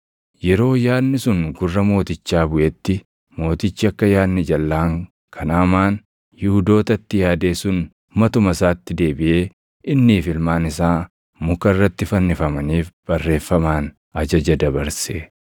Yeroo yaadni sun gurra mootichaa buʼetti mootichi akka yaadni jalʼaan kan Hamaan Yihuudootatti yaade sun matuma isaatti deebiʼee innii fi ilmaan isaa muka irratti fannifamaniif barreeffamaan ajaja dabarse.